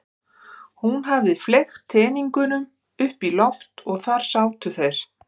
Hún hafði fleygt teningunum upp í loft og þar sátu þeir.